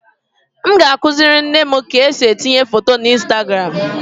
M ga-akụziri nne m ka esi etinye foto na Instagram